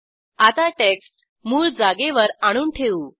आता टेक्स्ट मूळ जागेवर आणून ठेवू